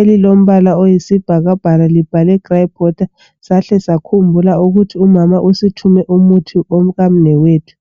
elilombala oyisibhakabhaka libhalwe grapewater sahle sakhumbula ukuthi umama usithume umuthi womkamnewethu